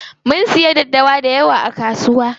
Mun siyo daddawa dayawa a kasuwa.